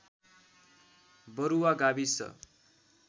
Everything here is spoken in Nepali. बरुवा गाविस